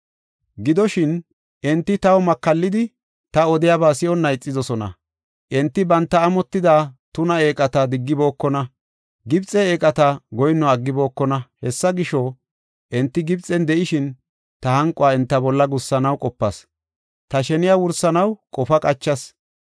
Gidoshin, enti taw makallidi, ta odiyaba si7onna ixidosona. Enti banta amotida tuna eeqata diggibookona; Gibxe eeqata goyinno aggibokona. Hessa gisho, enti Gibxen de7ishin, ta hanquwa enta bolla gussanaw qopas. Ta sheniya wursanaw qofa qachas.